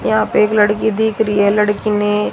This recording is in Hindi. यहां पे एक लड़की दिख रही है लड़की ने--